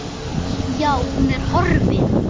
Já, hún er horfin.